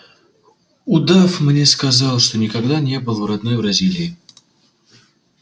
удав мне сказал что никогда не был в родной бразилии